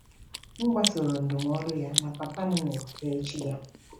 M gbasoro ndụmọdụ ya, ma papa m nwụrụ n’echi ya.